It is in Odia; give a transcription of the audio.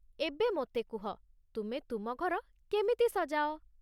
ଏବେ, ମୋତେ କୁହ, ତୁମେ ତୁମ ଘର କେମିତି ସଜାଅ?